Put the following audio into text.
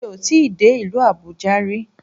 Mi ò tíì dé ìlú Àbújá ri